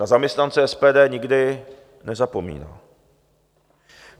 Na zaměstnance SPD nikdy nezapomíná.